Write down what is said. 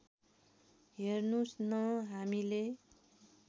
हेर्नुहोस् न हामीले